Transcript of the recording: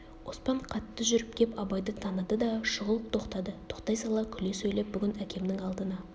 оспан қатты жүріп кеп абайды таныды да шұғыл тоқтады тоқтай сала күле сөйлеп бүгін әкемнің алдына